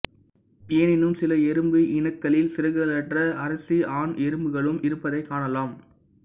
எனினும் சில எறும்பு இனக்களில் சிறகுகளற்ற அரசி ஆண் எறும்புகளும் இருப்பதைக் காணலாம்